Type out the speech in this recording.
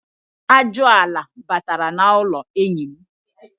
Ajụala batara n'ụlọ enyi.